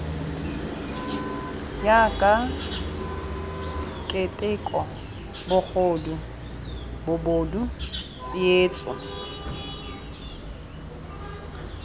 jaaka keteko bogodu bobod tsietso